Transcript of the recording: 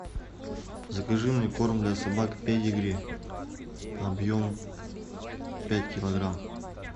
закажи мне корм для собак педигри объем пять килограмм